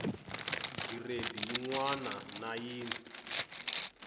giredi yin wana na yin